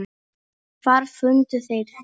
Og hvar fundu þeir þig.